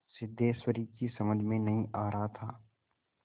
सिद्धेश्वरी की समझ में नहीं आ रहा था